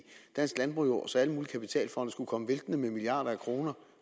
dansk landbrug så alle mulige kapitalfonde skulle komme væltende med milliarder af kroner